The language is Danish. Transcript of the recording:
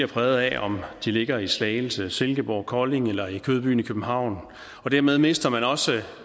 præget af om de ligger i slagelse silkeborg kolding eller i kødbyen i københavn og dermed mister man også